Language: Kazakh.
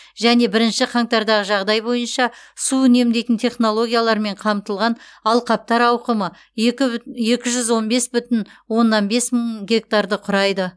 және бірінші қаңтардағы жағдай бойынша су үнемдейтін технологиялармен қамтылған алқаптар ауқымы екі жүз он бес бүтін оннан бес мың гектар құрайды